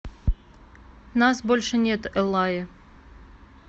нас больше нет эллаи